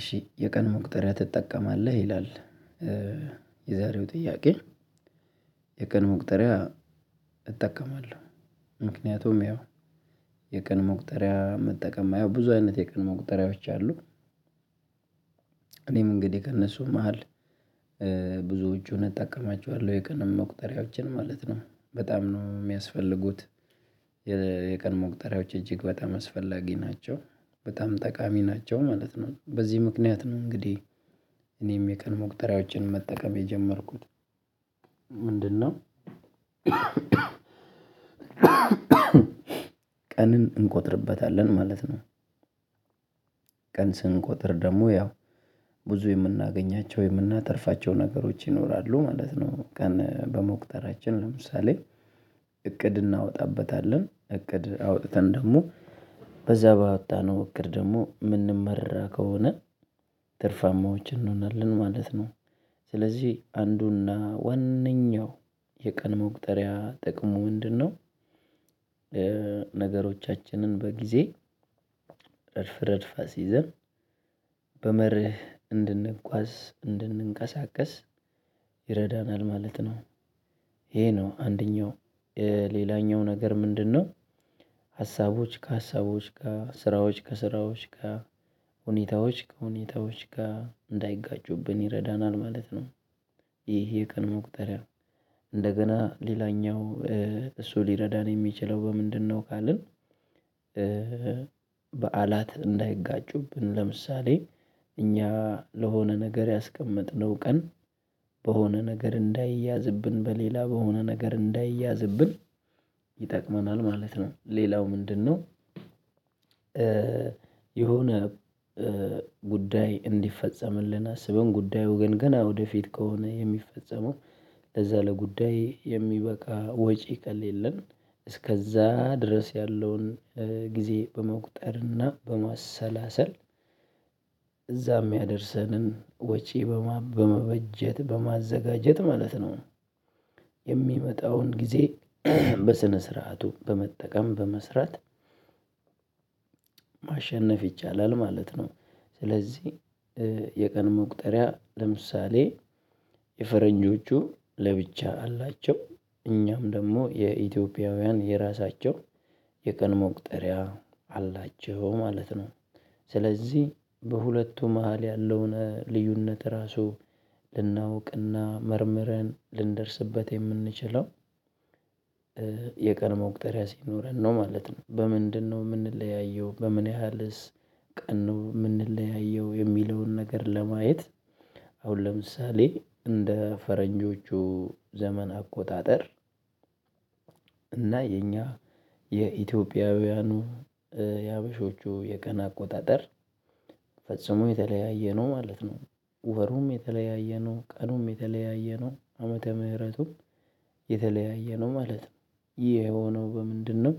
እሺ የቀን መቁጠሪያ ትጠቀማለህ ይላል? የዛሬው ጥያቄ የቀን መቁጠሪያ እጠቀማለሁ ምክንያቱም ያው የቀን ሙቁጠሪያ መጠቀም የማየው ብዙ አይነት የቀን መቁጠሪያዎች አሉ። እኔም እንግዲህ ከእነሱ መሃል ብዙዎቹን እጠቀማቸዋለሁ የቀን መቁጠሪያዎችን ማለት ነው በጣም ነው የሚያስፈልጉት። የቀን መቁጠሪያዎች እጅግ በጣም አስፈላጊ ናቸው በጣም ጠቃሚ ናቸው ማለት ነው በዚህ ምክንያት ነው እንግዲህ እኔም የቀን መቁጠሪያዎችን መጠቀም የጀመርኩት ምንድነው? ቀንን እንቆጥርበታለን ማለት ነው። ቀን ስንቆጥር ደግሞ ያው ብዙ የምናገኛቸው የምናተርፋቸው ነገሮች ይኖራሉ ማለት ነው። ቀን በመቁጠሪያችን ለምሳሌ እቅድ እናወጣበታለን እቅድ አውጥተን ደግሞ በዛ ባወጣነው እቅድ ደግሞ የምንመራ ከሆነ ትርፋማዎች እንሆናለን ማለት ነው። ስለዚህ አንዱና ዋነኛው የቀን መቁጠሪያ ጥቅሙ ምንድነው? ነገሮቻችንን በጊዜ ረድፍ ረድፍ አስይዘን በመርህ እንድንጓዝ እንድንንቀሳቀስ ይረዳናል ማለት ነው። ይሄ ነው አንደኛው ሌላኛው ነገር ምንድነው? ሀሳቦች ከሀሳቦች ጋር ስራዎች ከስራዎች ጋር ሁኔታዎች ከሁኔታዎች ጋር እንዳይጋጩብን ይረዳናል ማለት ነው። ይሄ የቀን መቁጠሪያ እንደገና ሌላኛው እሱ ሊረዳን የሚችለው በምንድነው ካልን? በዓላት እንዳይጋጩብን ለምሳሌ እኛ ለሆነ ነገር ያስቀመጥነው ቀን በሆነ ነገር እንዳይያዝብን በሌላ በሆነ ነገር እንዳይያዝብን ማለት ነው። ሌላው ምንድነው? የሆነ ጉዳይ እንዲፈጸምልን አስበን ጉዳዩ ግን ገና ወደፊት ከሆነ የሚፈጸመው ለዛ ለጉዳይ የሚበቃ ወጪ ከሌለን እስከዛ ድረስ ያለውን ጊዜ በመቁጠርና በማሰላሰል እዛም ያደርሰንን ወጪ በመበጀት በማዘጋጀት ማለት ነው። የሚመጣውን ጊዜ በስነ ስርዓቱ በመጠቀም በመስራት ማሸነፍ ይቻላል ማለት ነው። ስለዚህ የቀን መቁጠሪያ ለምሳሌ የፈረንጆቹ ለብቻ አላቸው እኛም ደግሞ የኢትዮጵያውያን የራሳቸው የቀን መቁጠሪያ አላቸው ማለት ነው። ስለዚህ በሁለቱ መሃል ያለውን ልዩነት ራሱ ልናውቅና መርምረን ልንደርስበት የምንችለው የቀን መቁጠሪያ ሲኖረን ነው ማለት ነው። በምንድነው የምንለያየው በምን ያህልስ? ቀን ነው የምንለያየው የሚለውን ነገር ለማየት አሁን ለምሳሌ እንደ ፈረንጆቹ ዘመን አቆጣጠር እና የኛ የኢትዮጵያውያኑ የሓበሾቹ የቀን አቆጣጠር ፈጽሞ የተለያየ ነው ማለት ነው። ወሩም የተለያየ ነው ቀኑም የተለያየ ነው ዓመተ ምህረቱም የተለያየ ነው ማለት ነው ይሄ የሆነው በምንድነው?